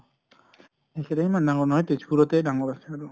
এইকেইটা ইমান ডাঙৰ নহয়, তেজ্পুৰতে ডাঙৰ আছে আৰু।